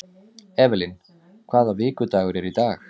Evelyn, hvaða vikudagur er í dag?